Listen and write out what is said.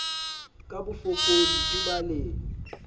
ka bofokodi e ba le